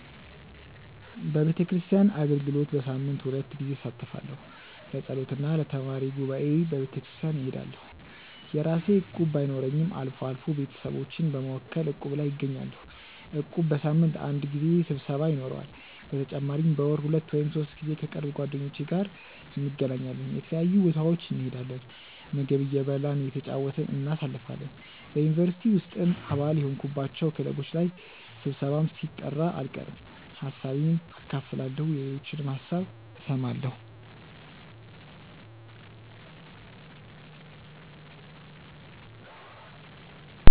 በቤተክርስቲያን አገልግሎት በሳምንት ሁለት ጊዜ እሳተፋለሁ። ለጸሎት እና ለተማሪ ጉባኤ በቤተክርስቲያን እሄዳለሁ። የራሴ እቁብ ባይኖረኝም አልፎ አልፎ ቤተሰቦቼን በመወከል እቁብ ላይ እገኛለሁ። እቁቡ በሳምንት አንድ ጊዜ ስብሰባ ይኖረዋል። በተጨማሪም በወር ሁለት ወይም ሶስት ጊዜ ከቅርብ ጓደኞቼ ጋር እንገናኛለን። የተለያዩ ቦታዎች እንሄዳለን፣ ምግብ እየበላን እየተጨዋወትን እናሳልፋለን። በ ዩኒቨርሲቲ ውስጥም አባል የሆንኩባቸው ክለቦች ላይ ስብሰባም ሲጠራ አልቀርም። ሀሳቤን አካፍላለሁ የሌሎችንም ሀሳብ እሰማለሁ።